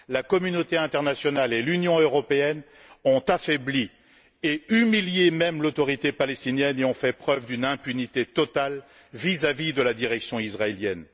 La communauté internationale et l'Union européenne ont affaibli, voire humilié, l'Autorité palestinienne et ont fait preuve d'une impunité totale vis à vis de la direction israélienne.